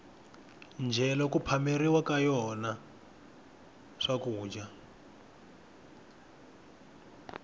ndyelo ku phameriwa ka yona swakudya